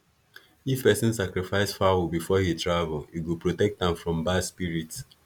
if person sacrifice fowl before he travel e go protect am from bad spirit